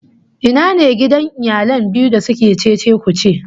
Ina ne gidan iyalan biyu da suke cece-kuce?